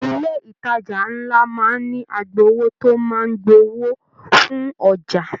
Ilé ìtàjà nlá máa n ní agbowó tó máa n gbà owó fún ọjà.